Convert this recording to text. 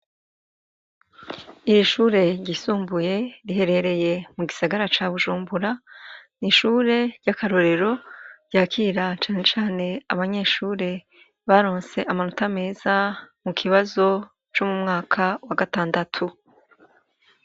Ishure ryisumbuye, riherereye mu gisagara gisagara ca Bujumbura. Ni ishure ry'akarorero ryakira cane cane abanyeshure baronse amanota meza mu kibazo co mu mwaka wa gatandatu.